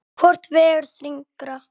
Hvort vegur þyngra?